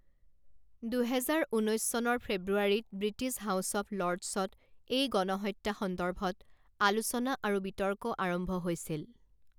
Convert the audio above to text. দুহেজাৰ ঊনৈছ চনৰ ফেব্ৰুৱাৰীত ব্ৰিটিছ হাউছ অৱ লৰ্ডছত এই গণহত্যা সন্দৰ্ভত আলোচনা আৰু বিতৰ্ক আৰম্ভ হৈছিল।